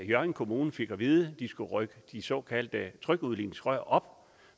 hjørring kommune fik at vide at de skulle rykke de såkaldte trykudligningsrør op